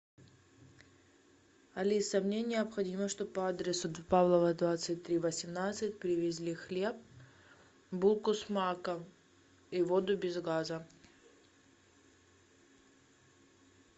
алиса мне необходимо чтоб по адресу павлова двадцать три восемнадцать привезли хлеб булку с маком и воду без газа